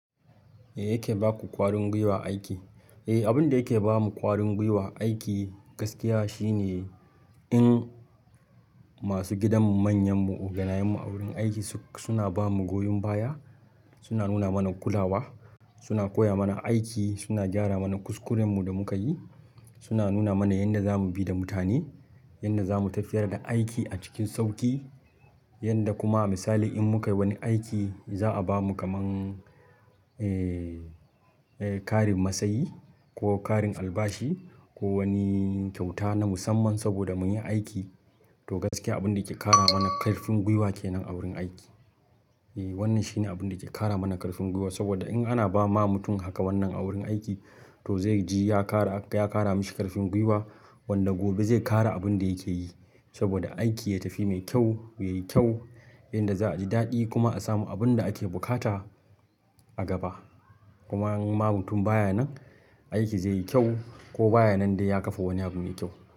Me yake baku ƙwarin gwiwa a aiki? Abun da yake bamu kwarin gwiwa a aiki gaskiya shine in masu gidan mu manyanmu, oganayenmu a wurin aiki suna ba mu goyon baya, suna nuna mana kulawa, suna koya mana aiki, suna gyara mana kuskurenmu da muka yi, suna nuna mana yanda za mu bi da mutane, yanda zamu tafiyar da aiki a cikin sauƙi, yanda kuma misali in muka yi wani aiki za a bamu kamar, eh, eh, karin masayi ko karin albashi ko wani kyauta na musamman saboda mun yi aiki. To gaskiya abin da yake ƙara mana ƙarfin gwiwa kenan a wurin aiki. Eh wannan shine abun da yake kara mana karfin gwiwa saboda in ana ba ma mutum haka wannan a wurin aiki to zai ji ya kara mishi karfin gwiwa wanda gobe zai ƙara abin da yake yi saboda aiki ya tafi mai kyau, yayi kyau inda za a ji dadi kuma a samu abun da ake bukata a gaba kuma in ma mutum baya nan, aiki zai yi kyau ko baya nan dai ya kafa wani abu mai kyau.